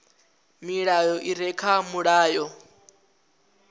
milayo i re kha mulayo